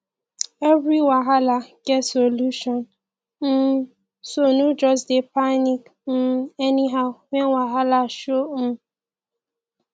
evri wahala get solution um so no jus dey panic um anyhow wen wahala show um